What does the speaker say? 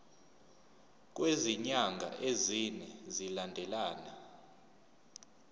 kwezinyanga ezine zilandelana